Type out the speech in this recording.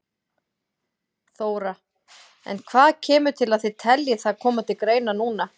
Þóra: En hvað kemur til að þið telji það koma til greina núna?